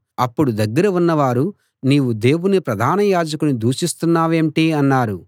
అప్పుడు దగ్గర ఉన్నవారు నీవు దేవుని ప్రధాన యాజకుణ్ణి దూషిస్తున్నావేంటి అన్నారు